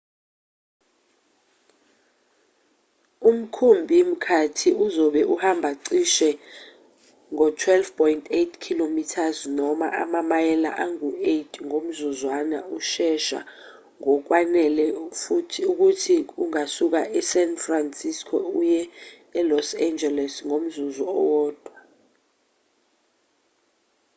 umkhumbi-mkhathi uzobe uhamba cishe ngo-12.8 km noma amamayela angu-8 ngomzuzwana ushesha ngokwanele ukuthi ungasuka e-san francisco uye e-los angeles ngomzuzu owodwa